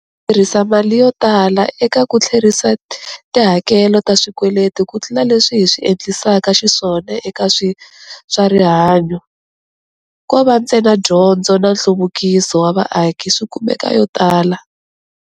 Hi tirhisa mali yo tala eka ku tlherisa tihakelo ta swikweleti kutlula leswi hi swi endlisaka xiswona eka swa rihanyu, ko va ntsena dyondzo na nhluvukiso wa vaaki swi kumaka yo tala.